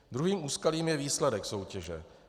Druhým úskalím je výsledek soutěže.